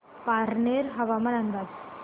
पारनेर हवामान अंदाज